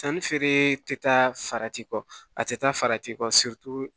Sannifeere tɛ taa farati kɔ a tɛ taa farati kɔ